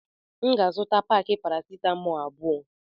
M ga azuta paki paracetamol abụọ.